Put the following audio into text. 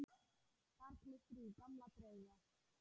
Þar glittir í gamla drauga.